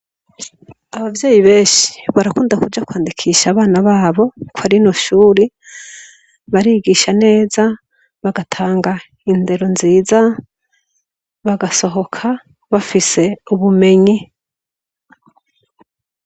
Abavyeyi benshi barakunda kuja kwandikisha abana babo kwa rino shure, barigisha neza, bagatanga indero nziza, bagasohoka bafise ubumenyi.